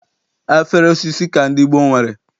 Afere osisi ka ndị gboo nwere.